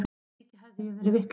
Mikið hafði ég verið vitlaus.